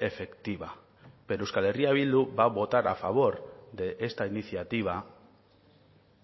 efectiva pero euskal herria bildu va a votar a favor de esta iniciativa